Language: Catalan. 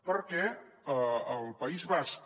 perquè el país basc